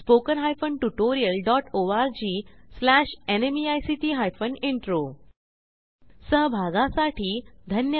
spoken hyphen tutorial dot ORG slash NMEICT hyphen intro ह्या ट्युटोरियलचे भाषांतर मनाली रानडे यांनी केले असून मी रंजना भांबळे आपला निरोप घेते160